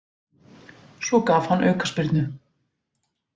Svo gaf hann aukaspyrnu.